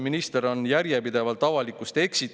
Minister on järjepidevalt avalikkust eksitanud.